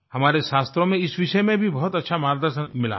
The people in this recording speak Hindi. हमारे शास्त्रों में इस विषय में भी बहुत अच्छा मार्गदर्शन मिला है